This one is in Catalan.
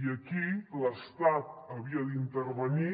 i aquí l’estat havia d’intervenir